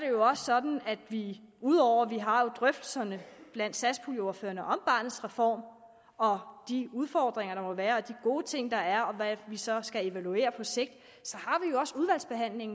jo også sådan at ud over vi har drøftelserne blandt satspuljeordførerne om barnets reform og de udfordringer der måtte være og de gode ting der er og hvad vi så skal evaluere på sigt